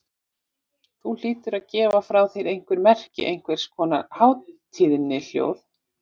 Þú hlýtur að gefa frá þér einhver merki, einhvers konar hátíðnihljóð.